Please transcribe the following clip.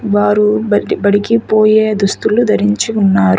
వారు బట్టీబడికి పోయే దుస్తులు ధరించి ఉన్నారు.